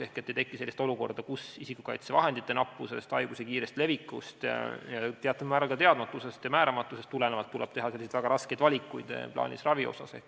Ehk ei tohi tekkida sellist olukorda, kus isikukaitsevahendite nappusest, haiguse kiirest levikust, teatud määral ka teadmatusest või määramatusest tulenevalt tuleb teha väga raskeid valikuid plaanilise ravi suhtes.